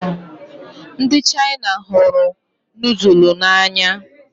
Ndị Chaina hụrụ nudulu n'anya